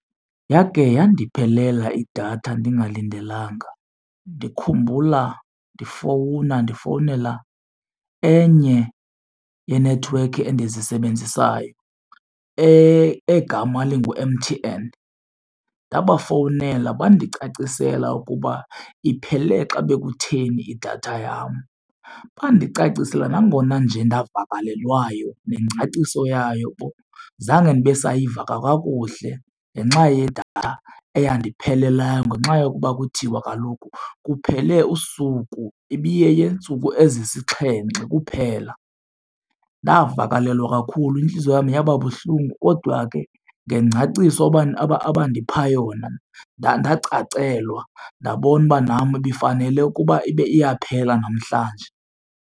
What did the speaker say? Yakhe yandiphelela idatha ndingalindelanga. Ndikhumbula ndifowuna ndifowunela enye yenethiwekhi endizisebenzisayo egama lingu-M_T_N. Ndabafowunela bandicacisela ukuba iphele xa bekutheni idatha yam. Bandicacisele nangona nje ndavakalelwayo, nengcaciso yayo zange ndibe sayiva kakuhle ngenxa yedatha eyandiphelelayo ngenxa yokuba kuthiwa kaloku kuphele usuku, ibiyeyeentsuku ezisixhenxe kuphela. Ndavakalelwa kakhulu intliziyo yam yaba buhlungu kodwa ke ngengcaciso abandipha yona ndacacelwa, ndabona uba nam ibifanele ukuba ibe iyaphela namhlanje.